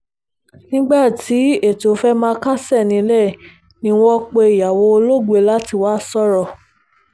nígbà tí ètò fẹ́ẹ́ máa kásẹ̀ nílẹ̀ ni wọ́n pe ìyàwó olóògbé láti wáá sọ̀rọ̀